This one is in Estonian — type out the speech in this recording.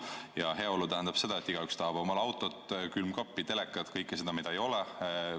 Ja heaolu tähendab seda, et igaüks tahab omale autot, külmkappi, telekat – kõike seda, mida ei neil veel ei ole.